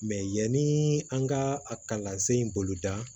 yanni an ka a kalansen in boloda